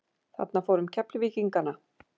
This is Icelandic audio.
Þarna fór um Keflvíkingana.